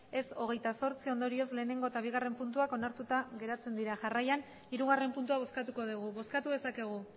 ez hogeita zortzi ondorioz lehenengo eta bigarren puntuak onartuta geratzen dira jarraian hirugarren puntua bozkatuko dugu bozkatu dezakegu